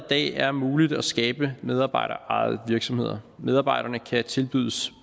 er muligt at skabe medarbejderejede virksomheder medarbejderne kan tilbydes